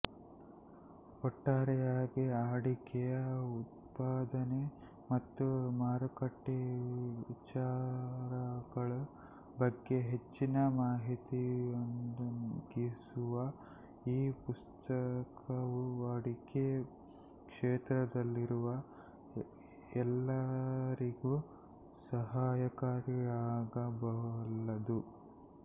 ಒಟ್ಟಾರೆಯಾಗಿ ಅಡಿಕೆಯ ಉತ್ಪಾದನೆ ಮತ್ತು ಮಾರುಕಟ್ಟೆ ವಿಚಾರಗಳ ಬಗ್ಗೆ ಹೆಚ್ಚಿನ ಮಾಹಿತಿಯನ್ನೊದಗಿಸುವ ಈ ಪುಸ್ತಕವು ಅಡಿಕೆ ಕ್ಷೇತ್ರದಲ್ಲಿರುವ ಎಲ್ಲರಿಗೂ ಸಹಾಯಕಾರಿಯಾಗಬಲ್ಲದು